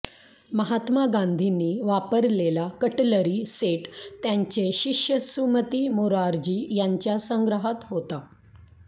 महात्मा गांधींनी वापरलेला cutlery set त्यांचे शिष्य सुमती मोरारजी यांच्या संग्रहात होता